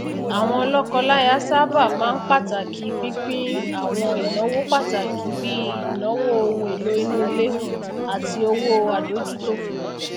àwọn lọkọláya sáabà máa n pàtàkì pínpín àwọn ìnáwó pataki bí i ìnáwó ohun èlò inú ilé àti owó adójútòfò